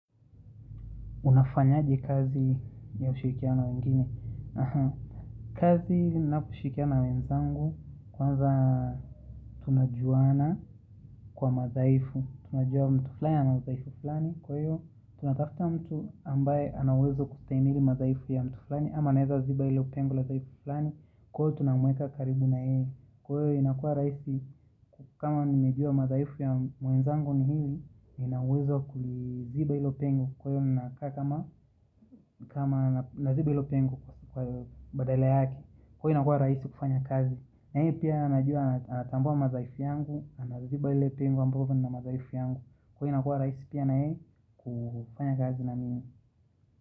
Unafanyaje kazi ya ushikiana na wengine. Kazi naoshikia na wenzangu kwanza tunajuana kwa madhaifu. Tunajua mtu fulani ana udhaifu fulani. Kwa hiyo tunatafuta mtu ambaye ana uwezo kustahimili madhaifu ya mtu fulani. Ama naeza ziba ilo pengo la dhaifu fulani. Kwa hiyo tunamweka karibu na yeye. Kwa hiyo inakua raisi kama nimejua madhaifu ya mwenzangu ni hili. Ina uwezo kuziba ilo pengo. Kwa hiyo ninakaa kama naziba ilo pengo kwa badale yake Kwa hiyo inakua rahisi kufanya kazi na hiyo pia anajua anatambua madhaifu yangu Anaziba ilo pengo ambao una madhaifu yangu Kwa hiyo inakua rahisi pia na yeye kufanya kazi na mimi.